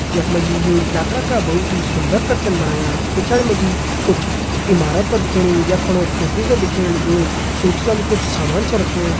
यख मा जी यो लाखड़ा का बहोत ही सूंदर कर छन बडायाँ पिछड़ी मा जी कुछ ईमारत दिख्येंणी यख पणि कुछ दिख्येंण लग्युं कुछ सामान छ रख्युं।